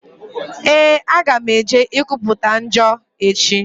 Ee, aga m eje ikwuputa njọ echi.